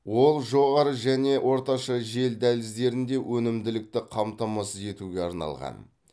ол жоғары және орташа жел дәліздерінде өнімділікті қамтамасыз етуге арналған